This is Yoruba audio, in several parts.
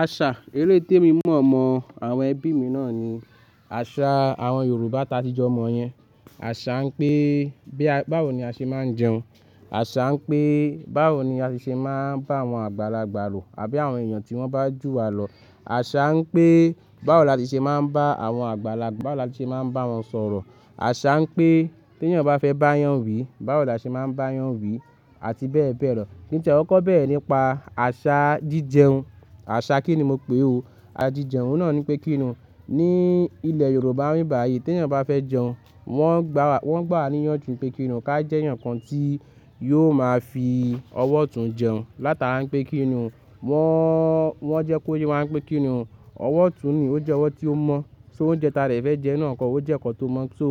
Àṣà eléyi tè mi mọ̀ mọ́ àwọn ẹbí mi náà ni àṣà àwọn Yorùbá ta tí jọ mọ̀ yẹn. Àṣà ń pé báwo ni a ṣe máa ń jẹun. Àṣà ń pé báwo ni a ṣe máa ń bá àwọn àgbàlagbà lò àbí àwọn èèyàn tí wọ́n bá jù wa lọ. Àṣà ń pé báwo la ti ṣe máa ń bá àwọn àgbàlagbà, báwo la ti ṣe máa ń bá wọn sọ̀rọ̀. Àṣà ń pé tí èèyàn bá fẹ́ bá èèyàn wí, báwo la ṣe máa ń bá èèyàn wí àti bẹ́ẹ̀ bẹ́ẹ̀ lọ. Kí n tì ẹ kó bẹ́rẹ̀ nípa àṣà jíjẹun? Àṣà kí ni mo pè é o. Àjíjẹun náà ni pé kí ni o, ní ilẹ̀ Yorùbá bíbàyì tí èèyàn bá fẹ́ jẹun, wọn gbà wá níyanjú pé kí ni o ká jẹ́ ẹ̀yàn kan tí yóò máa fi ọwọ́ tún jẹun. Láti ara ń pé kí ni o, wọn jẹ́ kó ye wá ń pé kí ni o. Ọwọ́ ọ̀tún ni ó jẹ́ ọwọ́ tí ó mọ̀. Só oúnjẹ ta dẹ fẹ́ jẹun náà kọ́, ó jẹ́ nkan tó mọ̀ tó.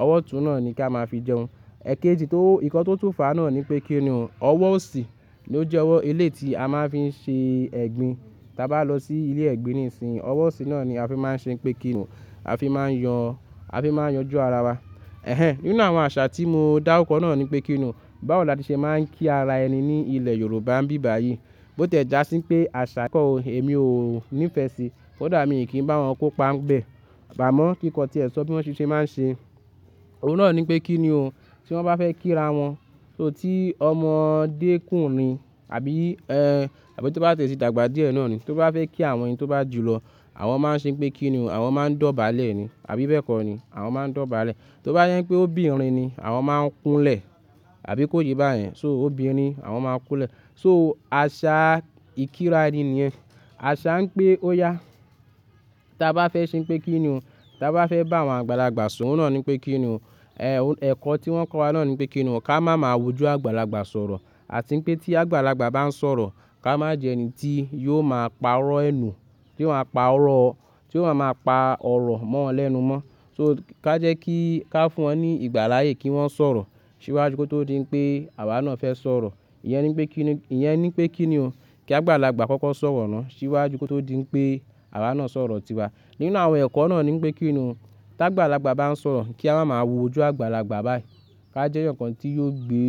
Ọwọ́ ọ̀tún náà ni ká máa fi jẹun. Ẹ̀kéjì tó, nkan tó tún fà á náà ni pé kí ni o, ọwọ́ ọ̀sì ni ó jẹ́ ọwọ́ eléyi ti a máa ń fi ṣe ẹ̀gbin. Taa bá lọ sí ilé ẹ̀gbin nísìínyi, ọwọ́ ọ̀sì náà ni a fi máa ń ṣe pé kí ni o, a fi máa ń yan, a fi máa ń yanju ara wa. Ẹ̀hẹn, nínú àwọn àṣà tí mo dáru kọ́ náà ni pé kí ni o, báwo la ti ṣe máa ń kí ara ẹni ní ilẹ̀ Yorùbá ń bíbàyì. Bó tẹ̀ já sí pé àṣà ẹ̀kọ́ o, èmi ò ní ìfẹ́ sí. Kódà mi kì í bá wọn kópa ń bẹ̀. Á mọ́ kí ìkan tí ẹ sọ bí wọ́n ṣe máa ń ṣe. Òun náà ni pé kí ni o, tí wọ́n bá fẹ́ kí ara wọn. So tí ọmọdé kùnrin àbí ẹ́, àbí tó bá tẹ̀síìdàgbà díẹ̀ náà ni, tó bá fẹ́ kí àwọn èèyàn tó bá jù lọ, àwọn máa ń ṣe pé kí ni o, àwọn máa ń dọ̀bálẹ̀ ni, àbí bẹ́ẹ̀ kọ́ ni. Àwọn máa ń dọ̀bálẹ̀. Tó bá sẹ pé óbìnrin ni, àwọn máa ń kúnlẹ̀, àbí kó yé bá yẹn. So óbìnrin àwọn máa ń kúnlẹ̀. So àṣà ìkíra ẹni nìyẹn. Àṣà ń pé ó yá. Taa bá fẹ́ ṣe pé kí ni o, ta bá fẹ́ bá àwọn àgbàlagbà sọ̀rọ̀ náà ni pé kí ni o. Ẹ̀kọ́ tí wọ́n kọ́ wa náà ni pé kí ni o, ká máa ma wójú àgbàlagbà sọ̀rọ̀. Àti pé tí àgbàlagbà bá ń sọ̀rọ̀, ká má jẹ ẹni tí yóò máa pa ọ̀rọ̀ ẹnu. Kí wọ́n má pa ọ̀rọ̀, kí wọ́n má pa ọ̀rọ̀ mọ́ wọn lẹ́nu mọ́. So ká jẹ́ kí, ká fún wọn ní ìgbáláyé kí wọ́n sọ̀rọ̀. Síwájú kí ó tó di pé àwa náà fẹ́ sọ̀rọ̀. Ìyẹn ni pé kí ni, ìyẹn ni pé kí ni o. Kí àgbàlagbà kọ́kọ́ sọ̀rọ̀ náà síwájú kí ó tó di pé àwa náà sọ̀rọ̀ tìwa. Nínú àwọn ẹ̀kọ́ náà ni pé kí ni o, tí àgbàlagbà bá ń sọ̀rọ̀, kí a má máa wójú àgbàlagbà báyìí. Ká jẹ́ ẹ̀yàn kan tí yóò gbé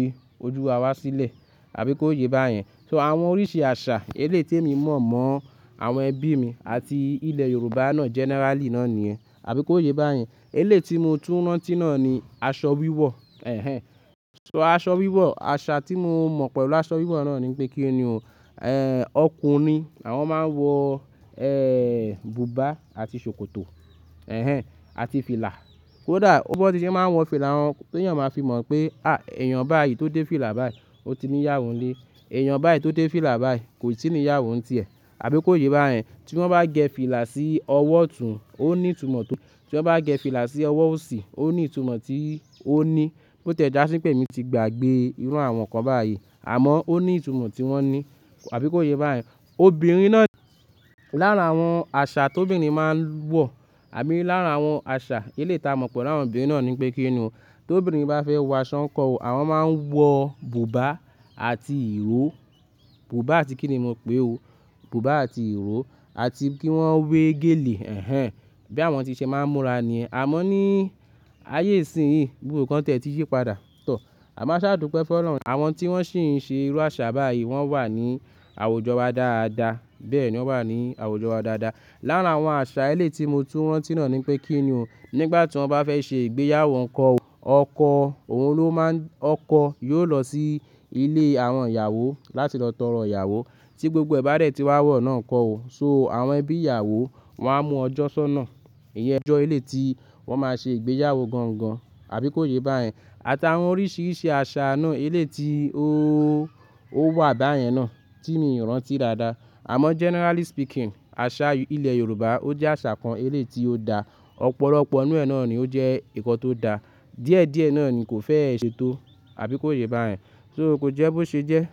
ojú wa wá sílẹ̀. Àbí kó yé bá yẹn. So àwọn oríṣi àṣà eléyi tè mi mọ̀ mọ́ àwọn ẹbí mi àti ilẹ̀ Yorùbá náà generally náà ni ẹ́. Àbí kó yé bá yẹn. Eléyi tí mo tún rọ́n tì náà ni aṣọ wíwọ̀. Ẹ̀hẹn. So aṣọ wíwọ̀, àṣà tí mo mọ̀ pẹ̀lú aṣọ wíwọ̀ náà ni pé kí ni o, ẹ́, ọkùnrin àwọn máa ń wọ, ẹ́, bùbá àti ṣòkòtò. Ẹ̀hẹn, àti fìlà. Kódà ó biwon ti ṣe máa ń wọ fìlà wọn, tí èèyàn máa fi mọ̀ pé, á, èèyàn báyìí tó dé fìlà báyìí, ó ti ní ìyàwó ń lé. Èèyàn báyìí tó dé fìlà báyìí kò tí ì ní ìyàwó ń tì ẹ́. Àbí kó yé bá yẹn. Tí wọ́n bá gẹ fìlà sí ọwọ́ ọ̀tún, ó ní ìtumọ̀ tó. Tí wọ́n bá gẹ fìlà sí ọwọ́ ọ̀sì, ó ní ìtumọ̀ tí ó ní. Bó tẹ̀ já sí pé èmi ti gbàgbé iru àwọn kan báyìí. Àmọ́ ó ní ìtumọ̀ tí wọ́n ní. Àbí kó yé bá yẹn. Obìnrin náà, lára àwọn àṣà tó obìnrin máa ń wọ̀, àbí lára àwọn àṣà eléyi ti a mọ̀ pẹ̀lú àwọn obìnrin náà ni pé kí ni o, ti obìnrin bá fẹ́ wọ aṣọ nkọ́ ọ̀, àwọn máa ń wọ bùbá àti ìró. Bùbá àti kí ni mo pè é o. Bùbá àti ìró àti kí wọ́n wé gèlè, ẹ̀hẹn. Bí àwọn tí ṣe máa ń múra ni. Àmọ́ ní ayé ìsìnyí, gbogbọ nkan tiẹ̀ tí yi padà. Tọ̀. Àmọ́ aṣáàdúpe fun olorun àwọn tí wọ́n sì ń ṣe irú àṣà báyìí, wọ́n wà ní àwùjọ wa dáadáa. Bẹ́ẹ̀ ni wọ́n wà ní àwùjọ wa dáadáa. Lára àwọn àṣà eléyi tí mo tún rantì náà ni pé kí ni o, nígbà tí wọ́n bá fẹ́ ṣe ìgbéyàwó nkọ́ ọ̀, ọkọ òun ló máa ń, ọkọ yóò lọ sí ilé àwọn ìyàwó láti lọ tọrọ ìyàwó tí gbogbo ẹ̀ bá dẹ̀ tí wá wọ̀ náà nkọ́ ọ̀. So àwọn ẹbí ìyàwó wọ́n á mú ọjọ́ sọ́nà. Ìjọ eléyi tí wọ́n máa ṣe ìgbéyàwó gangan. Àbí kó yé bá yẹn. Àti àwọn oríṣiríṣi àṣà náà eléyi tí ó, ó wà báyẹn náà tí mi ò rántí dáadáa. Àmọ́ generally speaking, àṣà ilẹ̀ Yorùbá ó jẹ́ àṣà kan eléyi tí ó da. Ọ̀pọ̀lọpọ̀ inú ẹ́ náà ni ó jẹ́ nkan tó da. Díẹ̀díẹ̀ náà ni kò feẹ́ ṣetó. Àbí kó yé bá yẹn. So ko jẹ́ bó ṣe jẹ́.